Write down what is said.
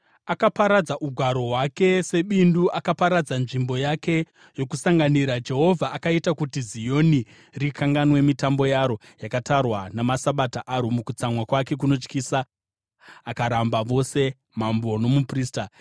Akaparadza ugaro hwake sebindu; akaparadza nzvimbo yake yokusanganira. Jehovha akaita kuti Zioni rikanganwe mitambo yaro yakatarwa namaSabata aro; mukutsamwa kwake kunotyisa, akaramba vose mambo nomuprista.